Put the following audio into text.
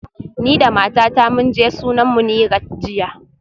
Ni da matata mun je sunan Munirat jiya